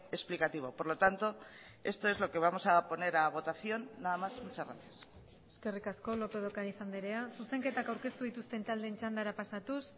explicativo por lo tanto esto es lo que vamos a poner a votación nada más muchas gracias eskerrik asko lópez de ocariz andrea zuzenketak aurkeztu dituzten taldeen txandara pasatuz